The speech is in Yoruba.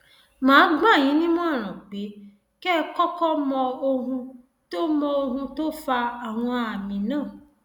màá gbà yín nímọràn pé kẹ ẹ kọkọ mọ ohun tó mọ ohun tó fa àwọn àmì náà